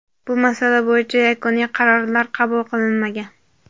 bu masala bo‘yicha yakuniy qarorlar qabul qilinmagan.